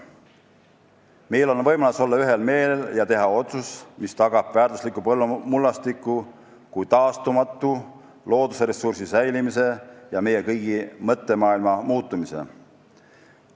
Meil on võimalus olla ühel meelel ja teha otsus, mis tagab väärtusliku mullastiku kui taastumatu loodusressursi säilimise ja meie kõigi mõttemaailma muutumise.